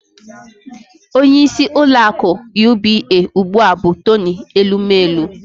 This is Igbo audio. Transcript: Onyeisi ụlọaku UBA ụgbụa bụ Toni Elumelu